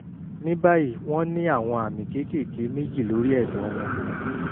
ní báyìí wọ́n ní àwọn àmì kéékèèké méjì lórí ẹ̀dọ̀ wọn